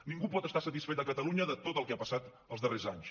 ningú pot estar satisfet a catalunya de tot el que ha passat els darrers anys